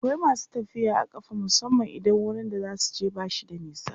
akwai masu tafiya a ƙafa musamman idan wurin da zasuje bashi da nisa